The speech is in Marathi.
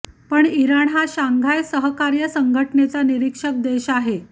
पण इराण हा शांघाय सहकार्य संघटनेचा निरीक्षक देश आहे